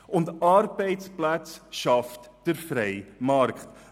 Und Arbeitsplätze schafft der freie Markt.